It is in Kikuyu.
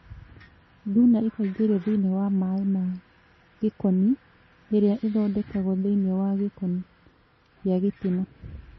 Thuna ĩkaingĩrio thĩinĩ wa maĩ ma gĩkoni ĩrĩa ĩthondekagwo thĩinĩ wa gĩkoni gĩa gĩtina